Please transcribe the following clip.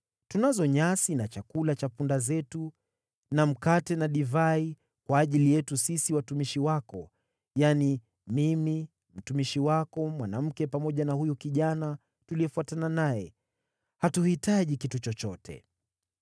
Tunazo nyasi na chakula cha punda wetu na mkate na divai kwa ajili yetu sisi watumishi wako, yaani mimi, mtumishi wako mwanamke, pamoja na huyu kijana tuliyefuatana naye. Hatuhitaji kitu chochote.”